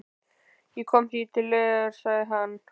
Ég kom því til leiðar, sagði hann.